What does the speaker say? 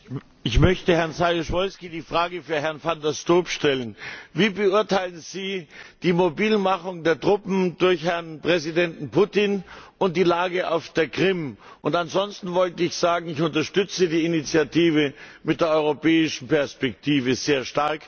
Ich möchte Herrn Saryusz Wolski die Frage für Herrn van der Stoep stellen. Wie beurteilen Sie die Mobilmachung der Truppen durch Präsident Putin und die Lage auf der Krim? Ansonsten wollte ich sagen, ich unterstütze die Initiative mit der europäischen Perspektive sehr stark.